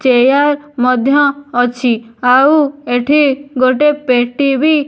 Chair ମଧ୍ୟ ଅଛି। ଆଉ ଏଠି ଗୋଟେ ପେଟି ବି --